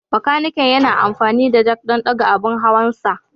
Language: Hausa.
Bakaniken yana amfani da jack don ɗaga abin hawansa.